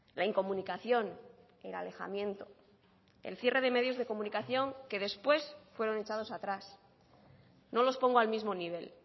la incomunicación el alejamiento el cierre de medios de comunicación que después fueron echados atrás no los pongo al mismo nivel